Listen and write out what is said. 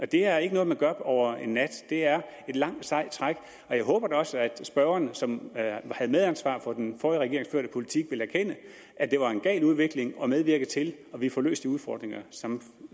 det er ikke noget man gør over en nat det er et langt sejt træk og jeg håber da også at spørgeren som havde medansvar for den forrige regerings førte politik vil erkende at det var en gal udvikling og medvirke til at vi får løst de udfordringer som